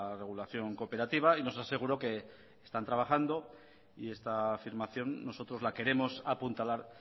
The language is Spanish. regulación cooperativa y nos aseguró que están trabajando y esta afirmación nosotros la queremos apuntalar